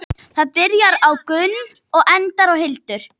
Það byrjar á Gunn og endar á hildur.